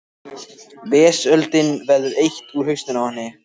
Vesöldinni verður eytt úr hausnum á henni.